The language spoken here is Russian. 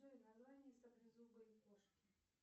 джой название саблезубой кошки